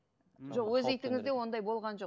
жоқ өз итіңізде ондай болған жоқ